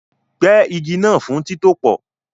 Gbẹ́ igi náà fún títòpò